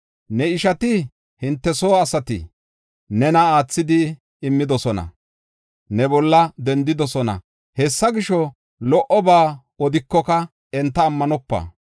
Ne ishati, hinte soo asati nena aathidi immidosona; ne bolla dendidosona. Hessa gisho, lo77oba odikoka enta ammanopa.